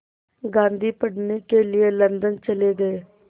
गांधी पढ़ने के लिए लंदन चले गए